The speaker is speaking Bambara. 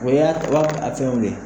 O y'a o y'a fɛnw de ye